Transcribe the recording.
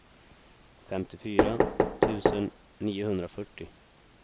femtiofyra tusen niohundrafyrtio